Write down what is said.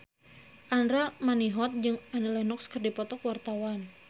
Andra Manihot jeung Annie Lenox keur dipoto ku wartawan